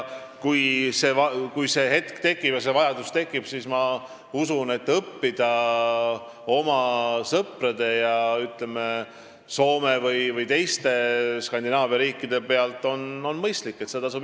Kui see hetk tuleb ja selleks vajadus tekib, siis ma usun, et õppida oma sõprade, ütleme, Soome või teiste Skandinaavia riikide pealt on mõistlik.